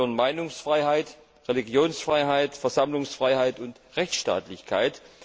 Dazu gehören Meinungsfreiheit, Religionsfreiheit, Versammlungsfreiheit und Rechtsstaatlichkeit.